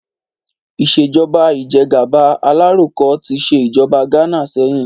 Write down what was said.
Ìṣèjọ́ba ìjẹ́gàba alaroko tí ṣe ìjọba Ghana sẹ́yìn